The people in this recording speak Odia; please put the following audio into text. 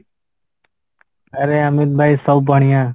ଆରେ ଅମିତ ଭାଇ ସବୁ ବଣିଆ